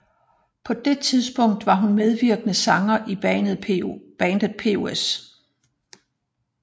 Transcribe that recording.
På det tidspunkt var hun medvirkende sanger i bandet POS